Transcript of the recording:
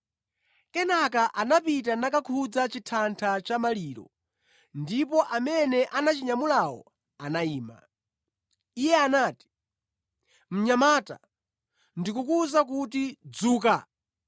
Kenaka anapita nakakhudza chithatha cha maliro ndipo amene anachinyamulawo anayima. Iye anati, “Mnyamata, ndikukuwuza kuti, dzuka!”